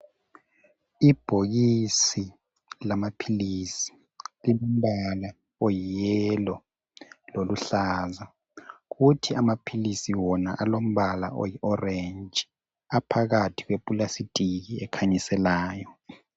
Ibhokisis lamaphilisi lilombala oyi yellow loluhlaza kuthi ama philisi wona alombala oyi orange aphakathi kwe pulasitiki ekhanyiselayo.